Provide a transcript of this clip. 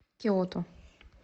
киото